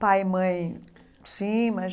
Pai e mãe, sim, mas...